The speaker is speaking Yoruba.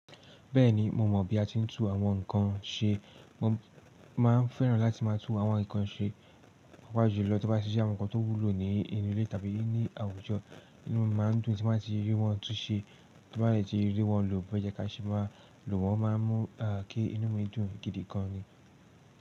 Bẹ́ẹ̀ni, mo mọ̀ bí a tí ń tún àwọn nkan ṣe. Mo máa ń fẹ́ràn láti máa tún àwọn nkan ṣe, pàápàá jùlọ tó bá tí jẹ́ àwọn nkan tó wúlò ní inú ilé tàbí ní àwùjọ. Inú mi máa ń dùn tí n ba ti rí wọn tún ṣe. Tó bá dẹ̀ tí rí wọn lò boseye ká ṣe máa lò wọ́n máa mú kí inú mi dùn gidi gan ni.